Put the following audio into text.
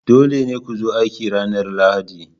Dole ne ku zo aiki ranar Lahadi!